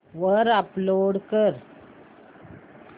वर अपलोड कर